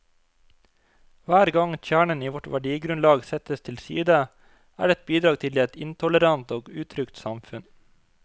Hver gang kjernen i vårt verdigrunnlag settes til side, er det et bidrag til et intolerant og utrygt samfunn.